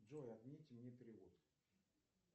джой отмените мне перевод